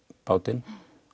bátinn